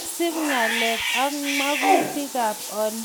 Kisub ngalalet ak mgatutikab olindet eng lipanetab tuguk